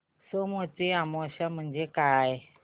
सोमवती अमावस्या म्हणजे काय